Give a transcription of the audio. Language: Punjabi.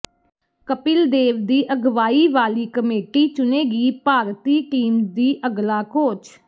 ਕਪਿਲ ਦੇਵ ਦੀ ਅਗਵਾਈ ਵਾਲੀ ਕਮੇਟੀ ਚੁਣੇਗੀ ਭਾਰਤੀ ਟੀਮ ਦੀ ਅਗਲਾ ਕੋਚ